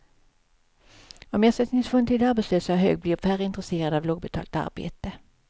Om ersättningsnivån till de arbetslösa är hög, blir färre intresserade av lågbetalt arbete.